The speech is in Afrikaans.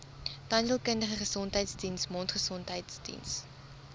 tandheelkundige gesondheidsdiens mondgesondheidsdiens